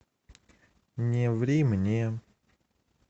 не ври мне